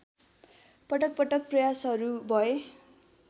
पटकपटक प्रयासहरू भए